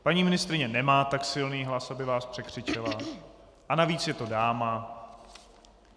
Paní ministryně nemá tak silný hlas, aby vás překřičela, a navíc je to dáma.